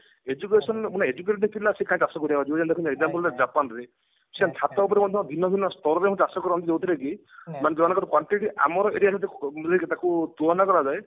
education educated ପିଲା ସିଏ କାଇଁ ଚାଷ କରିବାକୁ ଯିବ ଦେଖନ୍ତୁ ଗୋଟେ example ଗୋଟେ ଜାପାନ ରେ ସେମାନେ ଛାତ ଉପରେ ମଧ୍ୟ ଭିନ୍ନଭିନ୍ନ ସ୍ତରରେ ଚାଷ କରନ୍ତି ଯୋଉଥିରେ କି ମାନେ ଜଣଙ୍କର quantity ଆମର aria ଯଦି ମୁଁ ଯଦି ତାକୁ ତୁଳନା କରାଯାଏ